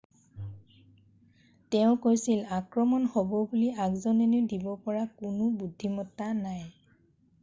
"তেওঁ কৈছিল "আক্ৰমণ হ'ব বুলি আগজাননী দিব পৰা কোনো বুদ্ধিমত্তা নাই।""